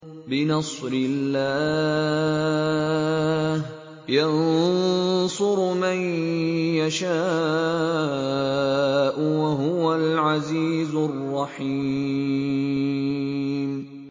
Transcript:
بِنَصْرِ اللَّهِ ۚ يَنصُرُ مَن يَشَاءُ ۖ وَهُوَ الْعَزِيزُ الرَّحِيمُ